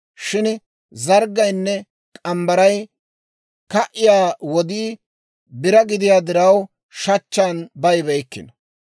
Shin zarggaynne k'ambbaray ka"iyaa wodii bira gideedda diraw, shachchan bayibeykkino.